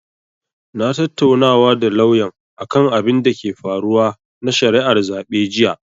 Na tattaunawa da lauyan akan abinda ke faruwa na shari'ar zaɓe jiya.